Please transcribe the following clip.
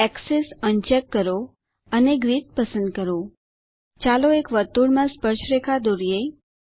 access uncheck કરો અને grid પસંદ કરો ચાલો એક વર્તુળમાં સ્પર્શરેખા દોરીએ